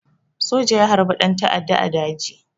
Soja ya harbi ɗan ta'adda a daji